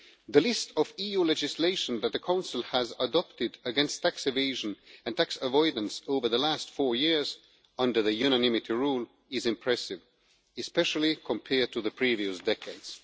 The list of EU legislation that the Council has adopted against tax evasion and tax avoidance over the last four years, under the unanimity rule, is impressive, especially compared to the previous decades.